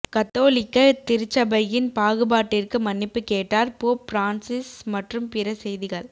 கத்தோலிக்க திருச்சபையின் பாகுபாட்டிற்கு மன்னிப்பு கேட்டார் போப் பிரான்சிஸ் மற்றும் பிற செய்திகள்